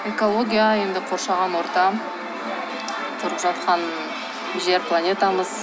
экология енді қоршаған ортам тұрып жатқан жер планетамыз